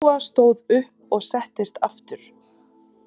Lóa stóð upp og settist aftur.